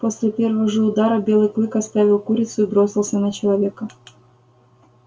после первого же удара белый клык оставил курицу и бросился на человека